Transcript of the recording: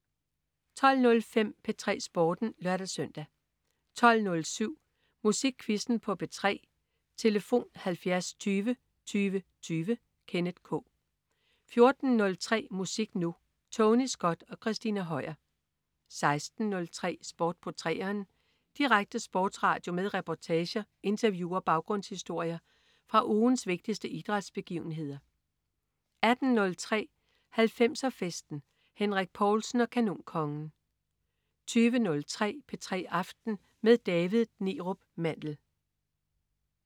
12.05 P3 Sporten (lør-søn) 12.07 Musikquizzen på P3. Tlf.: 70 20 20 20. Kenneth K 14.03 Musik Nu! Tony Scott og Christina Høier 16.03 Sport på 3'eren. Direkte sportsradio med reportager, interview og baggrundshistorier fra ugens vigtigste idrætsbegivenheder 18.03 90'er Festen. Henrik Povlsen og Kanonkongen 20.03 P3 aften med David Neerup Mandel